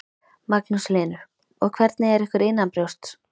Magnús Hlynur: Og hvernig er ykkur innanbrjósts?